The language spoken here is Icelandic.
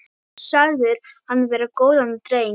Sagðir hann vera góðan dreng.